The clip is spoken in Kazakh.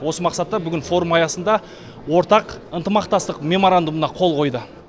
осы мақсатта бүгін форум аясында ортақ ынтымақтастық мемарандумға қол қойылды